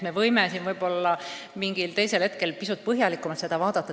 Me võime seda mingil teisel hetkel pisut põhjalikumalt arutada.